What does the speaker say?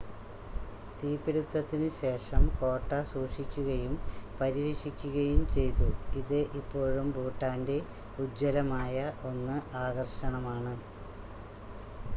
തീപിടുത്തത്തിനുശേഷം കോട്ട സൂക്ഷിക്കുകയും പരിരക്ഷിക്കുകയും ചെയ്തു ഇത് ഇപ്പോഴും ഭൂട്ടാൻ്റെ ഉജ്ജ്വലമായ 1 ആകർഷണമാണ്